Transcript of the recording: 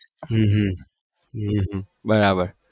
હમ હમ હમ હમ બરાબર